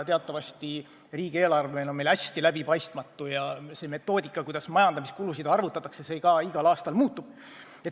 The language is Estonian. Teatavasti riigieelarve on meil hästi läbipaistmatu ja see metoodika, kuidas majandamiskulusid arvutatakse, ka iga aasta muutub.